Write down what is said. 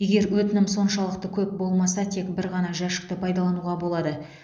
егер өтінім соншалықты көп болмаса тек бір ғана жәшікті пайдалануға болады